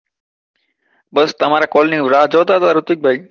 બસ તમારા call ની હું રાહ જોતો હતો ઋત્વિક ભાઈ.